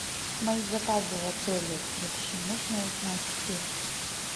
мои заказы в отеле вообще можно узнать все